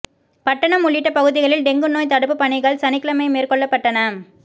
பட்டணம் உள்ளிட்ட பகுதிகளில் டெங்கு நோய் தடுப்புப் பணிகள் சனிக்கிழமை மேற்கொள்ளப்பட்டன